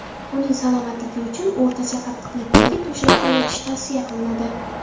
Uning salomatligi uchun o‘rtacha qattiqlikdagi to‘shakda yotish tavsiya qilinadi.